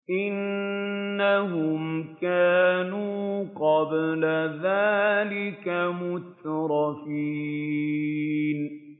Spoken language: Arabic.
إِنَّهُمْ كَانُوا قَبْلَ ذَٰلِكَ مُتْرَفِينَ